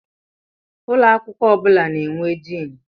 Ụlọ akwụkwọ ọ bụla na-enwe Diini.